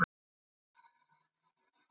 Hún sneri sér við.